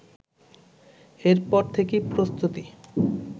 এরপর থেকেই প্রস্তুতি